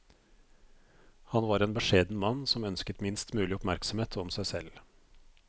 Han var en beskjeden mann som ønsket minst mulig oppmerksomhet om seg selv.